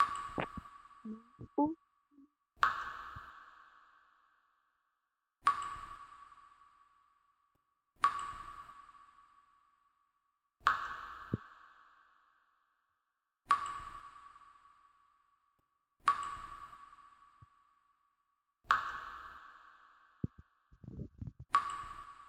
Naa"u cima maccaasati shaashshiya qaccidi, uuttaa haashi simidi itimaa kessanawu, goodiidi doosona. eta yuushshuwankka hara uttati beettoosona. unccay woykko itimay booxxidi beettees.